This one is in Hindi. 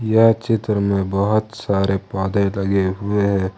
यह चित्र में बहोत सारे पौधे लगे हुए है।